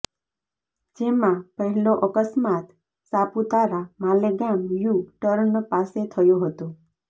જેમા પહેલો અકસ્માત સાપુતારા માલેગામ યુ ટર્ન પાસે થયો હતો